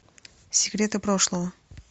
секреты прошлого